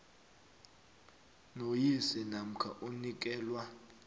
noyise namkha omnikelwa